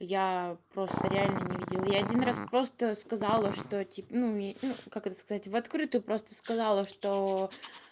я просто реально не видела я один раз просто сказала что ну как это сказать в открытую просто сказала что